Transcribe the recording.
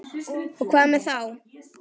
Og hvað með það þá?